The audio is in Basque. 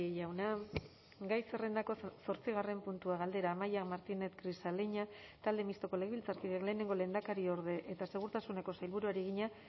jauna gai zerrendako zortzigarren puntua galdera amaia martínez grisaleña talde mistoko legebiltzarkideak lehenengo lehendakariorde eta segurtasuneko sailburuari egina